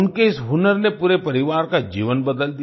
उनके इस हुनर ने पूरे परिवार का जीवन बदल दिया